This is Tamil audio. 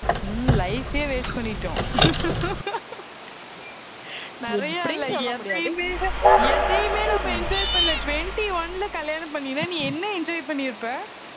ஹம் life யே waste பண்ணிட்டோம் நிறைய எதையுமே, எதையுமே நம்ம enjoy பண்ணல twenty-one ல கல்யாணம் பண்ணினா நீ என்ன enjoy பண்ணிருப்ப